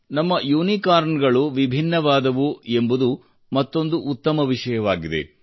ನಮ್ಮ ಯುನಿಕಾರ್ನ್ ಗಳು ವಿಭಿನ್ನವಾದವು ಎಂಬುದು ಮತ್ತೊಂದು ಉತ್ತಮ ವಿಷಯವಾಗಿದೆ